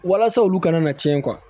Walasa olu kana na tiɲɛ